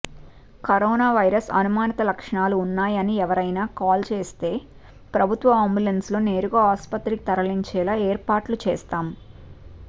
corona virus అనుమానిత లక్షణాలు ఉన్నాయని ఎవరైనా కాల్చేస్తే ప్రభుత్వ అంబులెన్స్లో నేరుగా ఆస్పత్రికి తరలించేలా ఏర్పాట్లు చేస్తాం